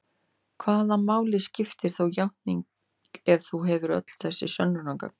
Hvaða máli skiptir þá játning ef þú hefur öll þessi sönnunargögn?